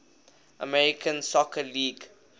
american soccer league